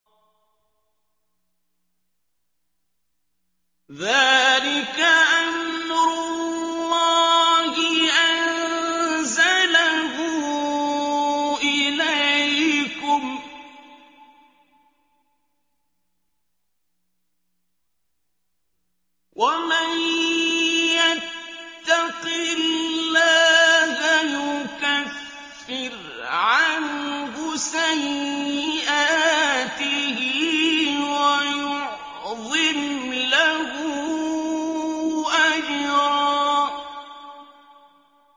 ذَٰلِكَ أَمْرُ اللَّهِ أَنزَلَهُ إِلَيْكُمْ ۚ وَمَن يَتَّقِ اللَّهَ يُكَفِّرْ عَنْهُ سَيِّئَاتِهِ وَيُعْظِمْ لَهُ أَجْرًا